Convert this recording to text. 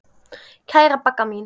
Kæra Bagga mín.